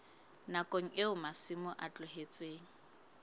nakong eo masimo a tlohetsweng